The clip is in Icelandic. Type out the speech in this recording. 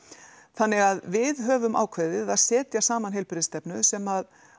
þannig að við höfum ákveðið að setja saman heilbrigðisstefnu sem